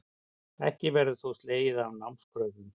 Ekki verður þó slegið af námskröfum